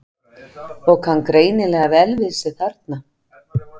Og kann greinilega vel við sig þarna!